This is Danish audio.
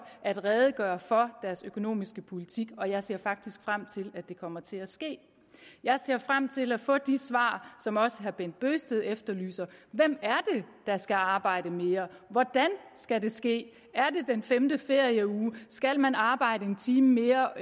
at redegøre for deres økonomiske politik og jeg ser faktisk frem til at det kommer til at ske jeg ser frem til at få de svar som også herre bent bøgsted efterlyser hvem er det der skal arbejde mere hvordan skal det ske er det den femte ferieuge skal man arbejde en time mere